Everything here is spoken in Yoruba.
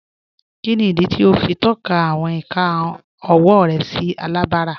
Kíni idí tí o fi n tọka awọn ìkà ọwọ rẹ sí alábárá?